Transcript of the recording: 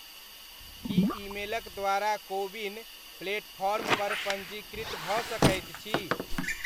की ईमेलक द्वारा CoWIN platform पर पञ्जीकृत भऽ सकैत छी?